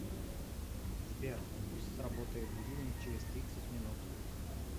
сбер пусть сработает будильник через тридцать минут